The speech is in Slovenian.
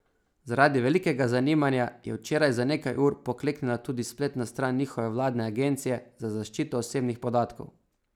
Zaradi velikega zanimanja je včeraj za nekaj ur pokleknila tudi spletna stran njihove vladne agencije za zaščito osebnih podatkov.